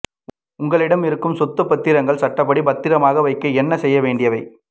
உங்களிடம் இருக்கும் சொத்துப் பத்திரங்கள் சட்டப்படி பத்திரமாக வைக்க என்ன செய்ய வேண்டியவை